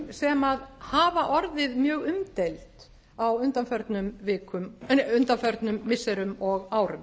sem hafa orðið mjög umdeild á undanförnum missirum og árum